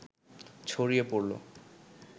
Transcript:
ছড়িয়ে পড়ল